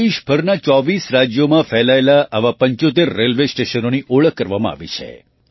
દેશભરનાં ૨૪ રાજ્યોમાં ફેલાયેલાં આવાં ૭૫ રેલવે સ્ટેશનોની ઓળખ કરવામાં આવી છે